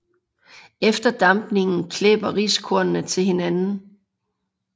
Efter dampningen klæber riskornene til hinanden